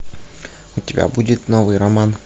у тебя будет новый роман